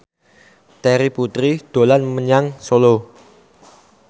Terry Putri dolan menyang Solo